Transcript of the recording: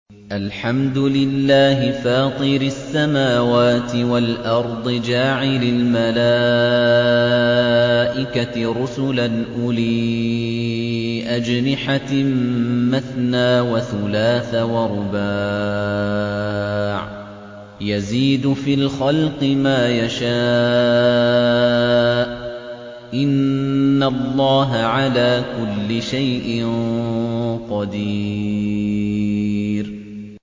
الْحَمْدُ لِلَّهِ فَاطِرِ السَّمَاوَاتِ وَالْأَرْضِ جَاعِلِ الْمَلَائِكَةِ رُسُلًا أُولِي أَجْنِحَةٍ مَّثْنَىٰ وَثُلَاثَ وَرُبَاعَ ۚ يَزِيدُ فِي الْخَلْقِ مَا يَشَاءُ ۚ إِنَّ اللَّهَ عَلَىٰ كُلِّ شَيْءٍ قَدِيرٌ